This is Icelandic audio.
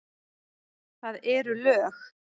Það eru lög!